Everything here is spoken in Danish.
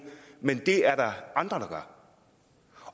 men det er der andre